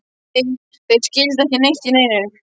Nei, þeir skildu ekki neitt í neinu.